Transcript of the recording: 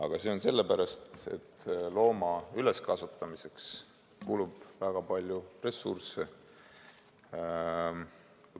Aga see on sellepärast, et looma üleskasvatamiseks kulub väga palju ressursse.